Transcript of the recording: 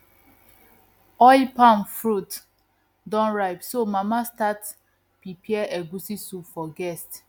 oil palm fruit don ripe so mama start prepare egusi soup for guest